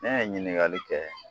Ne ye ɲininkali kɛ